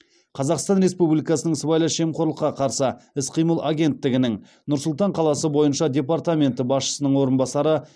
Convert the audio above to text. қазақстан республикасының сыбайлас жемқорлыққа қарсы іс қимыл агенттігінің нұр сұлтан қаласы бойынша департаменті басшысының орынбасары